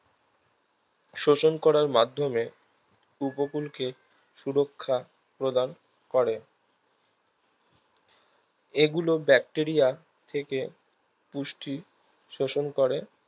শোষণ করার মাধ্যমে উপকূলকে সুরক্ষা প্রদান করে এগুলো ব্যাকটেরিয়া থেকে পুষ্টি শোষণ করে